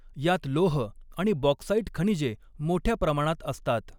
यात लोह आणि बॉक्साईट खनिजे मोठ्या प्रमाणात असतात.